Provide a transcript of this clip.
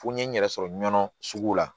Fo n ye n yɛrɛ sɔrɔ nɔnɔ sugu la